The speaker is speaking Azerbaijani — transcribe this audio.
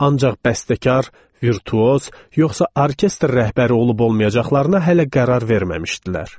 Ancaq bəstəkar, virtuoz, yoxsa orkestr rəhbəri olub-olmayacaqlarına hələ qərar verməmişdilər.